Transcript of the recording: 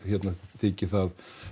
þyki það